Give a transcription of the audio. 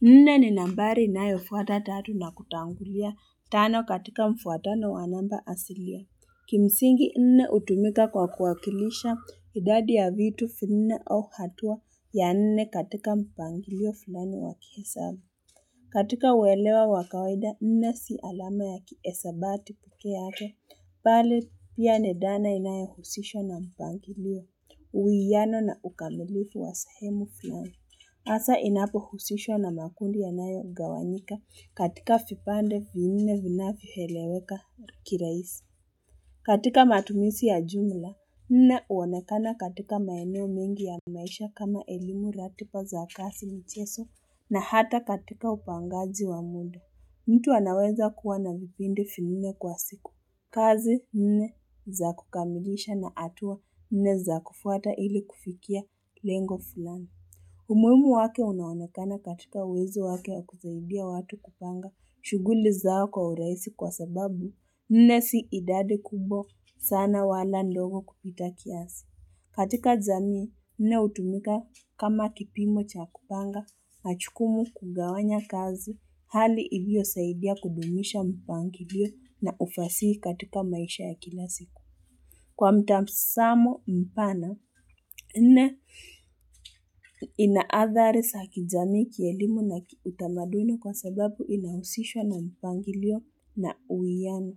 Nne ni nambari inayo fuata tatu na kutangulia tano katika mfuatano wa namba asilia. Kimsingi nne hutumika kwa kuwakilisha idadi ya vitu vinne au hatua ya nne katika mpangilio fulani wa kihesabu. Katika uelewa wa kawaida nne si alama ya kihesabati peke yake, bali pia ni dhana inayohusishwa na mpangilio, uwiano na ukamilifu wa sehemu vinne. Hasa inapohusishwa na makundi yanayogawanyika katika vipande vinne vinavyoeleweka kirahisi. Katika matumisi ya jumla, nne huonekana katika maeneo mengi ya maisha kama elimu, ratiba za kazi, michezo na hata katika upangaji wa muda. Mtu anaweza kuwa na vipindi vinne kwa siku. Kazi nne za kukamilisha na hatua nne za kufuata ili kufikia lengo fulani. Umuhimu wake unaonekana katika uwezo wake wa kusaidia watu kupanga shughuli zao kwa urahisi kwa sababu nne si idadi kubwa sana wala ndogo kupita kiasi. Katika jamii nne hutumika kama kipimo cha kupanga, majukumu kugawanya kazi, hali iliyosaidia kudumisha mpangilio na ufasihi katika maisha ya kila siku. Kwa mtazamo mpana, ina adhari za kijamii, kielimu na utamaduni kwa sababu inahusishwa na mpangilio na uwiano.